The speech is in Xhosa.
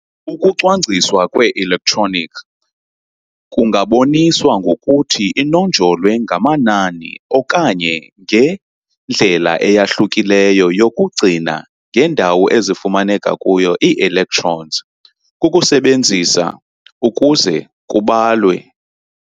Ukucwangciswa kwe-electronic kungaboniswa ngokuthi inonjolwe ngamanani okanye ngendlela eyahlukileyo yokucinga ngendawo ezifumaneka kuyo ii-electrons kukusebenzisa ] ukuze kubalwe.